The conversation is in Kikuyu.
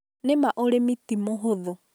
Nĩ ma ũrimi ti mũhũthu